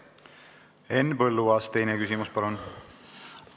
Henn Põlluaas, teine küsimus palun!